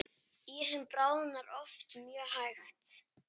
Ísinn bráðnar oft mjög hægt.